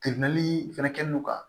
fɛnɛ kɛ no ka